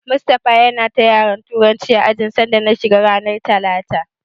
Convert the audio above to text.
Mustapha yana ta yara Turanci a ajin sanda na shiga ranar talata.